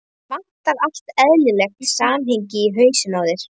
Það vantar allt eðlilegt samhengi í hausinn á þér.